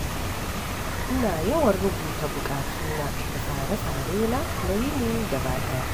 Ina yawan rubuta buƙatuna da tsare-tsarena na yini gaba ɗaya.